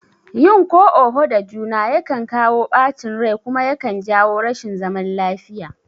Yin ko oho da juna yakan kawo ɓacin rai kuma yakan jawo rashin zaman lafiya